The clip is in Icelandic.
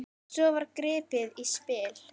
Svo var gripið í spil.